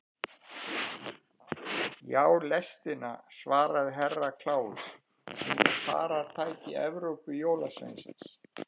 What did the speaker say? Já, lestina, svaraði Herra Kláus, hún er faratæki Evrópujólasveinsins.